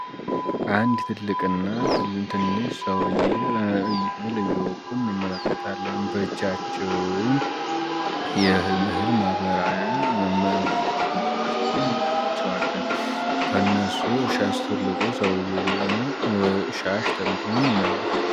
አንድ ትልቅ እና ትንሽ ሰውዬ ወደ ጎን ይመለከታሉ በእጃቸውም የእህል ማበራያ ይዘው ከእነሱ ትልቁ ሰውዬ ደግሞ ሻሽ ጠምጥሞም እናየዋለን።